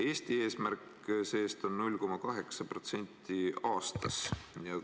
Eesti eesmärk see-eest on 0,8% aastas.